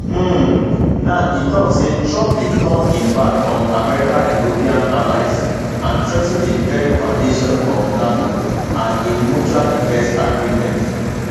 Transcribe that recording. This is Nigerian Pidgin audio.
um now e tok say trump dey turn im back on america european allies and threa ten di very foundations of nato and im mutual defence agreement